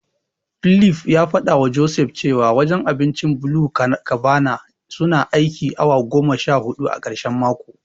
Philip ya fadawa Joseph cewa wajen abincin BluCabana suna aikin awa goma sha hudu a karshen mako.